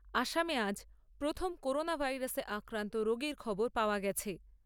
আসামে আজ প্রথম করোনা ভাইরাসে আক্রান্ত রোগীর খবর পাওয়া গেছে।